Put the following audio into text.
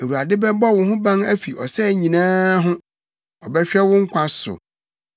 Awurade bɛbɔ wo ho ban afi ɔsɛe nyinaa ho, ɔbɛhwɛ wo nkwa so;